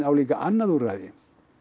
á líka annað úrræði